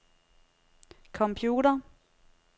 computer